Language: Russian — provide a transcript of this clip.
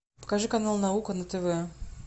покажи канал наука на тв